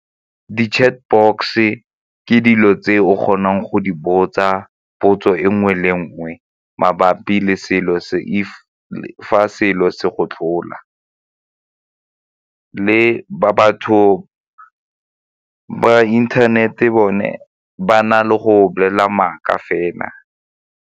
Di-chat box-se ke dilo tse o kgonang go di botsa potso e nngwe le nngwe mabapi le fa selo se go tlhola le ba batho ba internet-e bone ba na le go bolela maaka fela.